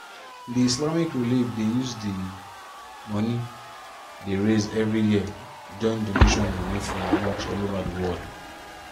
the islamic relief dey use di money dey raise every year join doantion money from mosque all over di world.